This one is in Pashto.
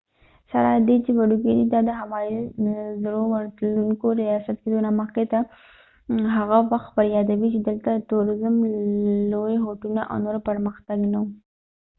سره ددې چې وړوکې دي دا د هوایي زړو ورتلونکو د ریاست کېدو نه مخکې ت هغه وخت ور یادوي چې دلته د تورزم لوي هوټلونه او نور پړمختګ نه و